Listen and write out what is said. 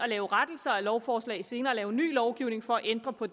lave rettelser af lovforslag og senere lave ny lovgivning for at ændre på